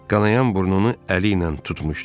Qanayan burnunu əli ilə tutmuşdu.